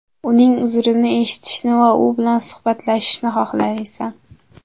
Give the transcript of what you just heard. Uning uzrini eshitishni va u bilan suhbatlashishni xohlamaysan.